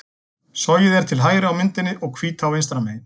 Sogið er til hægri á myndinni og Hvítá vinstra megin.